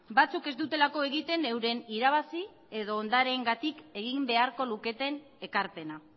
batzuk ez dutelako egiten euren irabazi edo ondareengatik egin beharko luketen ekarpena